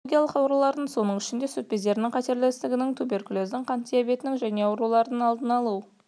онкологиялық аурулардың соның ішінде сүт бездерінің қатерлі ісігінің туберкулездің қант диабетінің және аурулардың алдын алу